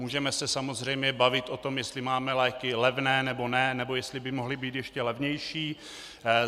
Můžeme se samozřejmě bavit o tom, jestli máme léky levné, nebo ne, nebo jestli by mohly být ještě levnější.